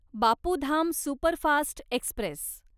Bapu Dham superfast Express